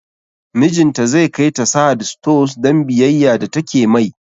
Mijinta zai kai ta Sahad stores don biyayya da take mai